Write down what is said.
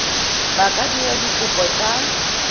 ba ka dira dikopo tsa